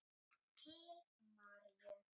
Til Maríu.